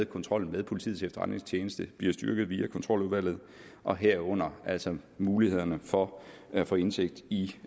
kontrollen med politiets efterretningstjeneste den bliver styrket via kontroludvalget og herunder altså mulighederne for at få indsigt i